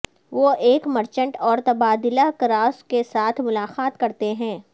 وہ ایک مرچنٹ اور تبادلہ کراس کے ساتھ ملاقات کرتے ہیں